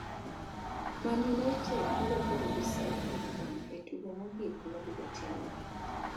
Man United biro kedo gi Southampton e tugo mogik mabiro timore